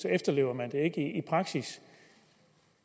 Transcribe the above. efterlever man det ikke i praksis